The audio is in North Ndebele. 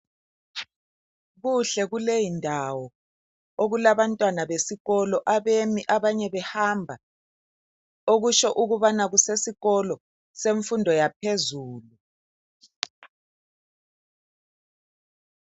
Kuhle kuleyi ndawo okula bantwana besikolo abemi abanye behamba okutsho ukubana kusesikolo semfundo yaphezulu.